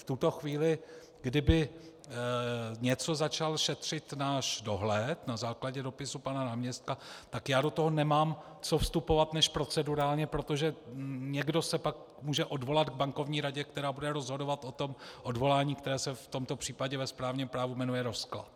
V tuto chvíli, kdyby něco začal šetřit náš dohled na základě dopisu pana náměstka, tak já do toho nemám co vstupovat než procedurálně, protože někdo se pak může odvolat k Bankovní radě, která bude rozhodovat o tom odvolání, které se v tomto případě ve správním právu jmenuje rozklad.